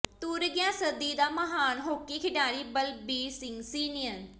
ਤੁਰ ਗਿਆ ਸਦੀ ਦਾ ਮਹਾਨ ਹਾਕੀ ਖਿਡਾਰੀ ਬਲਬੀਰ ਸਿੰਘ ਸੀਨੀਅਰ